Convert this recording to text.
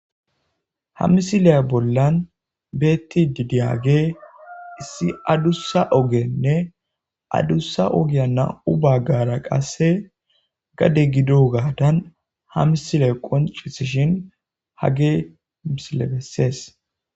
Ha missile bollan bettidi diyaggey issi addussa oggene adusa ogge nam'u baggara qasse gaddde gido gadan ha missiley qonccisishin hagey missiley besses.